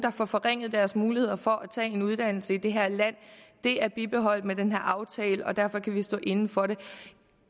får forringet deres muligheder for at tage en uddannelse i det her land er bibeholdt med den her aftale og derfor kan vi stå inde for den